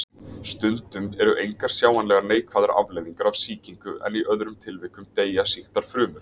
Stundum eru engar sjáanlegar neikvæðar afleiðingar af sýkingu en í öðrum tilvikum deyja sýktar frumur.